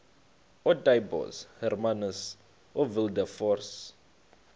ootaaibos hermanus oowilberforce